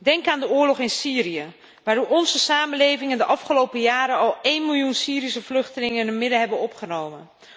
Denk aan de oorlog in Syrië, waardoor onze samenlevingen de afgelopen jaren al één miljoen Syrische vluchtelingen in hun midden hebben opgenomen.